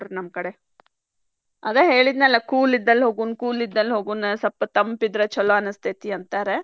ನಮ್ ಕಡೆ ಆದ ಹೇಳಿದ್ನಲ್ಲ cool ಇದ್ದಲ್ಲೇ ಹೋಗುಣ್ cool ಇದ್ದಲ್ಲೇ ಹೋಗುಣ ಸ್ವಲ್ಪ ತಂಪ ಚಲೋ ಅನಿಸ್ತೇತಿ ಅಂತಾರ.